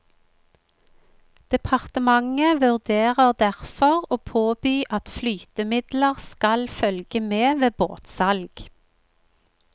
Departementet vurderer derfor å påby at flytemidler skal følge med ved båtsalg.